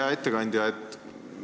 Hea ettekandja!